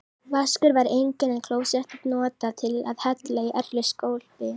Vaskur var enginn, en klósettið notað til að hella í öllu skólpi.